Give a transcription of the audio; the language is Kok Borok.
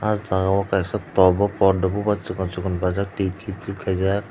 ah jagao kaisa top bo poddo bubar chikon bade twi tip tip khaijak.